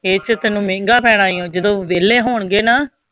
ਇੱਥੇ ਤੈਨੂੰ ਮਹਿੰਗਾ ਪੈਣਾ ਹੈ ਜਦੋਂ ਵਿਹਲੇ ਹੋਣਗੇ ਨਾ,